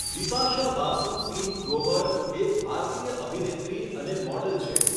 બિપાશા બાસુ સિંહ ગ્રોવર એક ભારતીય અભિનેત્રી અને મોડલ છે.